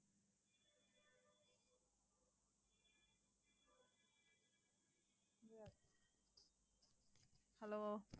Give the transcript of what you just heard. hello